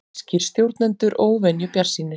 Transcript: Þýskir stjórnendur óvenju bjartsýnir